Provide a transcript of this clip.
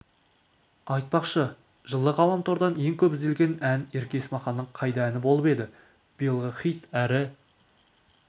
айтпақшы жылы ғаламтордан ең көп ізделген ән ерке есмаханның қайда әні болып еді биылғы хит әрі